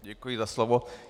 Děkuji za slovo.